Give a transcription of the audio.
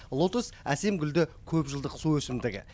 лотос әсем гүлді көпжылдық су өсімдігі